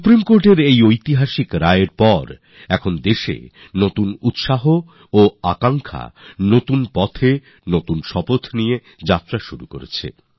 supreme কোর্টের এই ঐতিহাসিক রায়ের পর এখন দেশ নতুন আশার সঙ্গে নতুন আকাঙ্খার সাথে নতুন রাস্তায় নতুন ইচ্ছা নিয়ে চলতে শুরু করেছে